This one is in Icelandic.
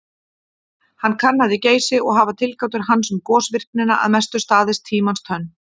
Hann kannaði Geysi og hafa tilgátur hans um gosvirknina að mestu staðist tímans tönn.